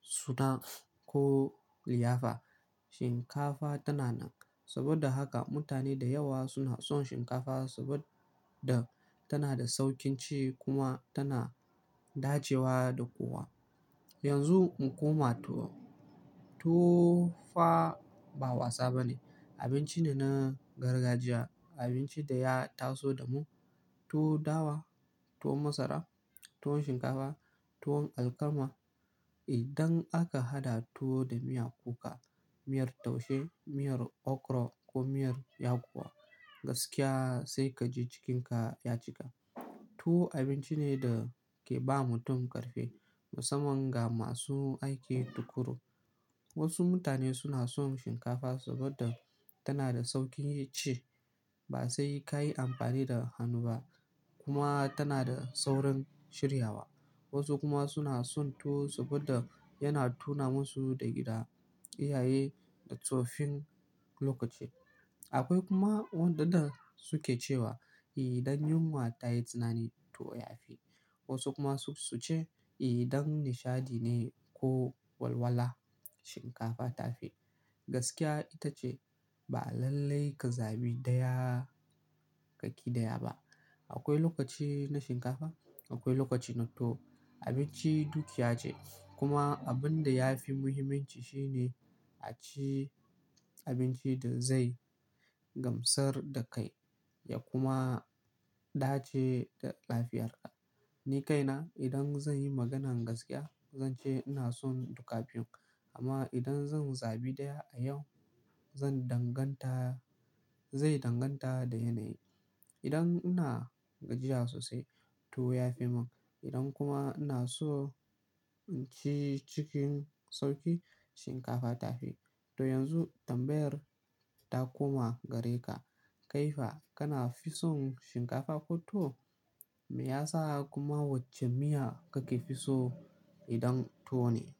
suna ko liyafa shinkafa tana nan. Saboda haka mutane da yawa suna son shinkafa saboda tana da sauƙin ci kuma tana dacewa da kowa. Yanzu mu koma tuwo. Tuwo fa ba wasa ba ne, abinci ne na gargajiya, abinci da ya taso da mu. Tuwo dawa, tuwo masara, tuwon shinkafa, tuwon alkama. Idan aka haɗa tuwo da miya kuka, miyar taushe, miyar okro ko miyar yakuwa gaskiya sai ka ji cikinka ya cika. Tuwo abinci ne da ke ba mutum ƙarfi musamman ga masu aiki tuƙuru. Wasu mutane suna son shinkafa saboda tana da sauƙin ci ba sai ka yi amfani da hannu ba kuma tana da saurin shiryawa. Wasu kuma suna son tuwo saboda yana tuna masu da gida, iyaye da tsoffin lokaci. Akwai kuma waɗanda suke cewa idan yunwa ta yi tsanani tuwo ya fi. Wasu kuma su suce idan nishadi ne ko walwala shinkafa ta fi. Gaskiya ita ce ba lallai ka zaɓi ɗaya ka ƙi ɗaya ba. Akwai lokaci na shinkafa, akwai lokaci na tuwo. Abinci duk ya ce kuma abin da ya fi muhimmanci shine a ci abinci da zai gamsar da kai ya kuma dace da lafiyarka. Ni kaina idan zan yi maganan gaskiya zan ce ina son duka biyun amma idan zan zabi ɗaya a yau zan danganta, zai danganta da yanayi. Idan ina gajiya sosai tuwo ya fi mun. Idan kuma ina so in ci cikin sauƙi shinkafa ta fi. To yanzu tambayar ta koma gare ka. Kai fa kana fisun shinkafa ko tuwo? Me yasa? Kuma wacce miya kake fi so idan tuwo ne?